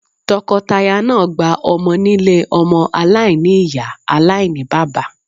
Tọkọtaya náà gba ọmọ nílé ọmọ aláìní-Ìyá aláìní-bàbá.